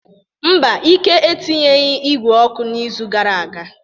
Mba, Ike etinyeghị igwe ọkụ n'izu gara aga.